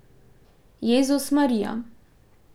Jezus Marija.